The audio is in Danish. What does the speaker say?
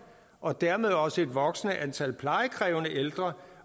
og dermed også et voksende antal plejekrævende ældre